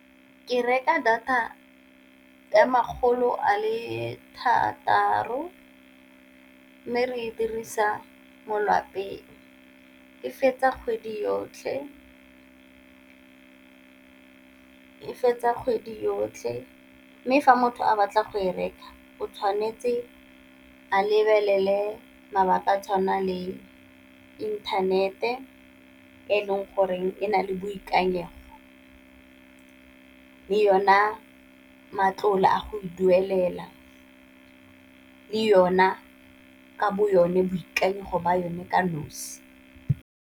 Ke reka data ka makgolo a le thataro, mme re dirisa mo lwapeng e fetsa kgwedi yotlhe, e fetsa kgwedi yotlhe mme fa motho a batla go e reka o tshwanetse a lebelele mabaka a tshwana le inthanete e leng go reng e nale boikanyego, le yona matlole a go e duelela, le yone ka bo yone boikanyego ba yone ka nosi.